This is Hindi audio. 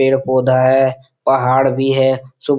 पेड़-पौधा है पहाड़ भी है जो --